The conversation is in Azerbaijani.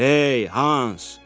“Hey, Hans!”